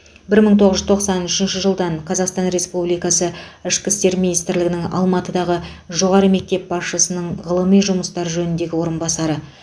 бір мың тоғыз жүз тоқсан үшінші жылдан қазақстан республикасы ішкі істер министрлігінің алматыдағы жоғары мектеп басшысының ғылыми жұмыстар жөніндегі орынбасары